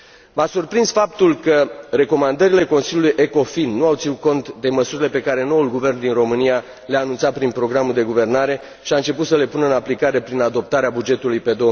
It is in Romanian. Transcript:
M a surprins faptul că recomandările Consiliului ECOFIN nu au ținut cont de măsurile pe care noul guvern din România le a anunțat prin programul de guvernare și a început să le pună în aplicare prin adoptarea bugetului pe